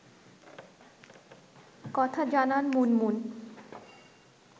কথা জানান মুনমুন